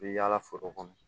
I bɛ yaala foro kɔnɔ